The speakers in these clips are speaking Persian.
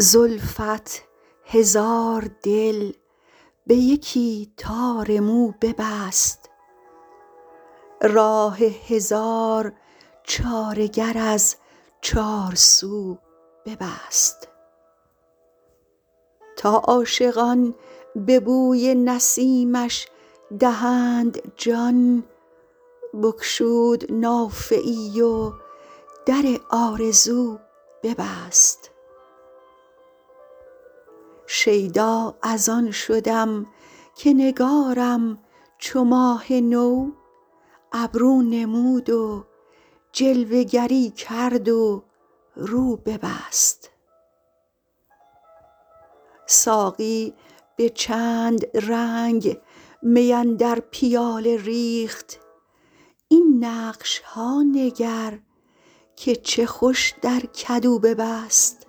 زلفت هزار دل به یکی تار مو ببست راه هزار چاره گر از چارسو ببست تا عاشقان به بوی نسیمش دهند جان بگشود نافه ای و در آرزو ببست شیدا از آن شدم که نگارم چو ماه نو ابرو نمود و جلوه گری کرد و رو ببست ساقی به چند رنگ می اندر پیاله ریخت این نقش ها نگر که چه خوش در کدو ببست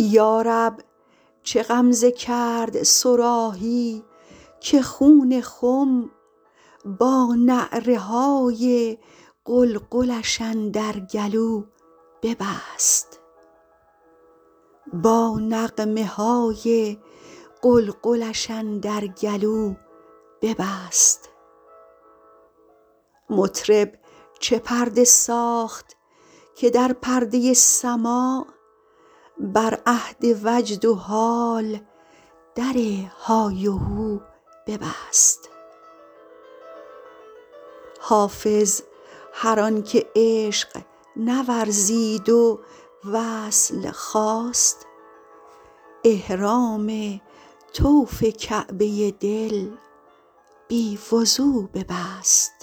یا رب چه غمزه کرد صراحی که خون خم با نعره های قلقلش اندر گلو ببست مطرب چه پرده ساخت که در پرده سماع بر اهل وجد و حال در های وهو ببست حافظ هر آن که عشق نورزید و وصل خواست احرام طوف کعبه دل بی وضو ببست